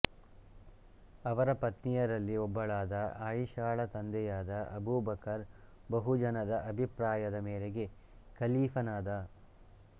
ಅವರ ಪತ್ನಿಯರಲ್ಲಿ ಒಬ್ಬಳಾದ ಆಯಷಳ ತಂದೆಯಾದ ಅಬುಬಕರ್ ಬಹು ಜನದ ಅಭಿಪ್ರಾಯದ ಮೇರೆಗೆ ಕಲೀಫನಾದ